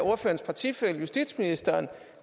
ordførerens partifælle justitsministeren